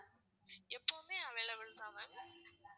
எப்போதுமே available தான் ma'am